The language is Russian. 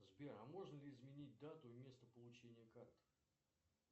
сбер а можно ли изменить дату и место получения карты